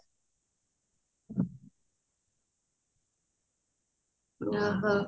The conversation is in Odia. ଓହୋ